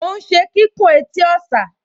Mò ún ṣe kíkùn etí ọ̀sà